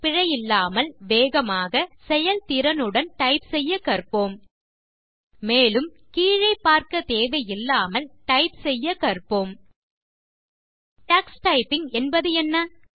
பிழையில்லாமல் வேகமாக செயல்திறனுடன் டைப் செய்ய கற்போம் மேலும் கீழே பார்க்க தேவையில்லாமல் டைப் செய்ய கற்போம் டக்ஸ் டைப்பிங் என்பதென்ன